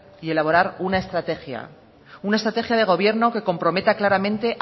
y elaborar una estrategia una estrategia de gobierno que comprometa claramente